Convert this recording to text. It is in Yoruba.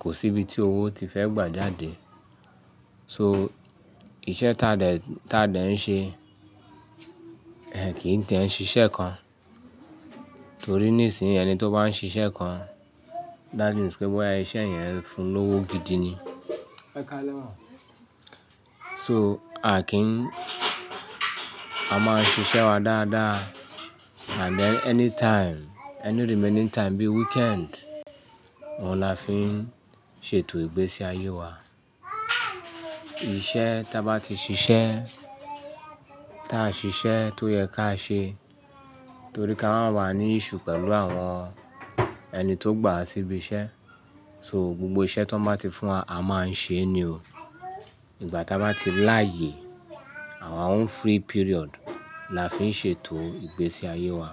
kò sí ibi tí owó ti fẹ́ gbà jáde. So iṣẹ́ tádẹ̀, tádẹ̀ ń ṣe ẹ kì í tẹ́ ń ṣiṣẹ́ kan torí nísìnyí ẹni tó bá ń ṣiṣẹ́ kan that means pé boya iṣẹ́ yẹn ń fún un lówó gidi ni. So a kì í ń A máa ń ṣiṣẹ́ wa dáadáa and then anytime, any remaining time bí weekend, òun la fi ń ṣe ètò ìgbésí ayé wa. Ìṣẹ́ tá bá ti ṣiṣẹ́, tá ṣiṣẹ́ tó yẹ ká ṣe torí ká máa ń wà ní issue pẹ̀lú àwọn ẹni tó gbà wa síbí iṣẹ́. So gbogbo iṣẹ́ tan bá ti fún wa a máa ń ṣe e ni o. Ìgbà tá bá ti láàyè our own free period la fi ń ṣe ètò ìgbésí ayé wa.